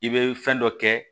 I bɛ fɛn dɔ kɛ